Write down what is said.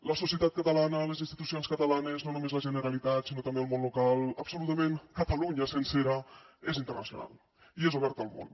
la societat catalana les institucions catalanes no només la generalitat sinó també el món local absolutament catalunya sencera és internacional i és oberta al món